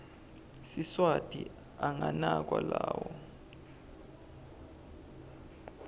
siswati anganakwa lawo